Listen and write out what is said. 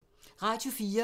Radio 4